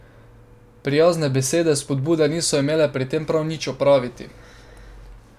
Prijazne besede spodbude niso imele pri tem prav nič opraviti.